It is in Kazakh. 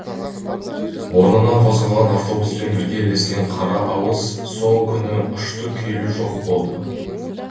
орнынан қозғалған автобуспен бірге ілескен қара ауыз сол күні ұшты күйлі жоқ болды